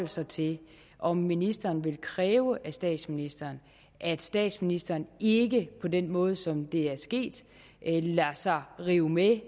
sig til om ministeren vil kræve af statsministeren at statsministeren ikke på den måde som det er sket lader sig rive med